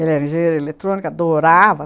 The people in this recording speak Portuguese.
Ele era engenheiro de eletrônica, adorava!